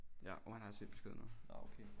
Ja uh han har set beskeden nu